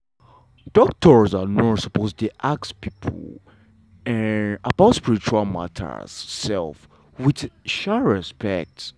doctor and nurse sopose dey ask pipo um about spiritual mata um wit um respect.